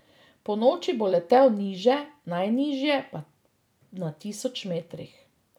Ponoči bo letel niže, najnižje na tisoč metrih.